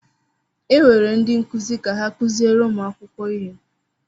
E were ndị nkụzi ka ha kụziere ụmụ akwụkwọ ihe.